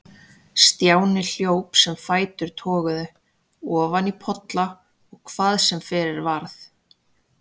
Stjáni hljóp sem fætur toguðu, ofan í polla og hvað sem fyrir varð.